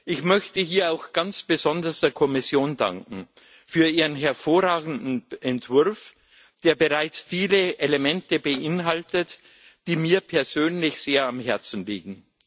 Ich möchte hier auch ganz besonders der Kommission für ihren hervorragenden Entwurf danken, der bereits viele Elemente beinhaltet, die mir persönlich sehr am Herzen liegen.